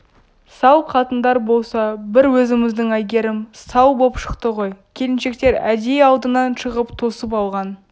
сал қатындар болса бір өзіміздің әйгерім сал боп шықты ғой келіншектер әдейі алдынан шығып тосып алған